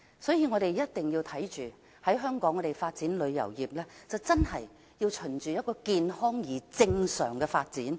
因此，我們一定要確保香港的旅遊業，是循着健康而正常的方向發展。